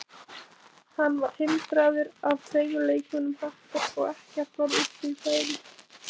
Hann var hindraður af tveimur leikmönnum Hattar og ekkert varð úr því færi.